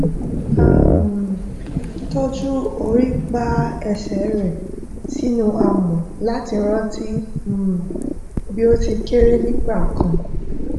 a um tọjú orípa ẹsẹ rẹ sínú amọ láti rántí um bí ó ti kéré tó nígbà kan